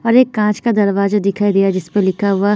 और एक कांच का दरवाजा दिखाई दिया जिसपे लिखा हुआ--